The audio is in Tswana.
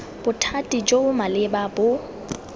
bothati jo bo maleba bo